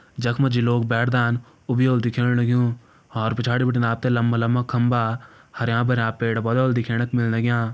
जखमां जि लोग बैठदां ऊ भि वोलु दिखेण लग्युं और पिछाड़ी बिटिन आपतैं लम्बा-लम्बा खम्बा हर्यां-भर्यां पेड़-पौधा व्होला दिखेण क मिन लग्यां।